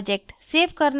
project save करना और